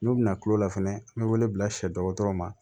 N'u bɛna kulola fɛnɛ an be wele bila sɛdɔgɔtɔrɔw ma